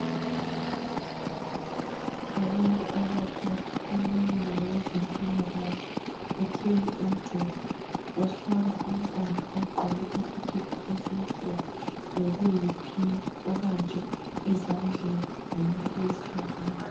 Abantu abathathu, omunye ngowezempilakahle uthwele umjovo uhlaba umntwana ogqoke isikhipha esimhlophe lokuyi pink obanjwe ezandleni ngumuntu wesifazana.